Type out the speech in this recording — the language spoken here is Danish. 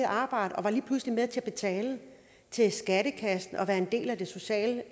arbejde og lige pludselig var med til at betale til skattekassen og være en del af det sociale